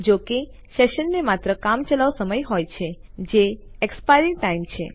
જોકે સેશનને માત્ર કામચલાઉ સમય હોય છે જે એક્સપાયરી ટાઇમ છે